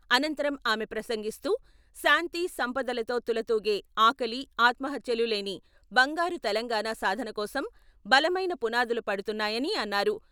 అనంతరం ఆమె ప్రసంగిస్తూ శాంతి, సంపదలతో తులతూగే, ఆకలి, ఆత్మహత్యలు లేని బంగారు తెలంగాణ సాధనకోసం బలమైన పునాదులు పడుతున్నాయని అన్నారు.